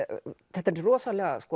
þetta er rosalega